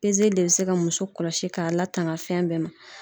de bɛ se ka muso kɔlɔsi k'a latanga fɛn bɛɛ ma.